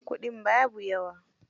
kuɗin babu yawa.